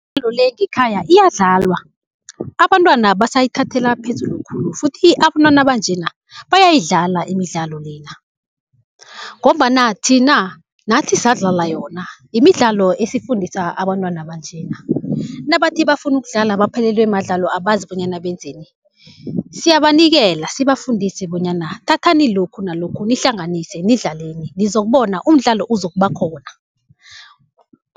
Imidlalo le ngekhaya iyadlalwa, abantwana basayithathela phezulu khulu futhi abantwana banjena bayayidlala imidlalo lena, ngombana thina nathi sadlala yona. Imidlalo esiyifundisa abantwana banjena nabathi bafuna ukudlala baphelelwe madlalo abazi bonyana benzeni, siyabanikela sibafundise bonyana thathani lokhu nalokhu nihlanganise nidlaleni nizokubona umdlalo uzokuba khona.